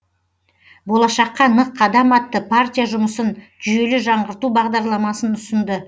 болашаққа нық қадам атты партия жұмысын жүйелі жаңғырту бағдарламасын ұсынды